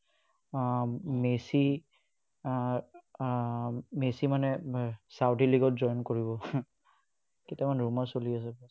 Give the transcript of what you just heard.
উম messi ah ah messi মানে saudi league ত join কৰিব। কেইটামান rumour চলি আছে।